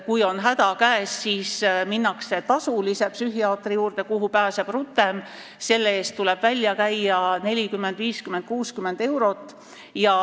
Kui on häda käes, siis minnakse tasulise psühhiaatri juurde, kuhu pääseb rutem, selle eest tuleb välja anda 40, 50 või 60 eurot.